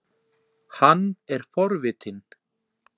Hann er forvitinn.